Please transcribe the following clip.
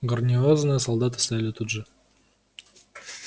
гарнизонные солдаты стояли тут же